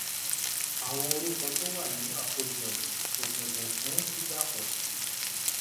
àwọn orúkọ tó wà nínú àkójọ yìí kò bẹ̀bẹ̀ fún dídàpọ̀ sí.